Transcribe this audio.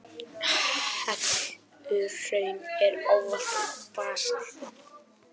Helluhraun eru ávallt úr basalti.